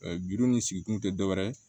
gindo ni sigi kun tɛ dɔwɛrɛ ye